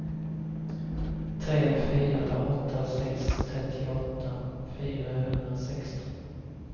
tre fyra åtta sex trettioåtta fyrahundrasexton